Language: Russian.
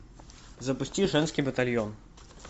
запусти женский батальон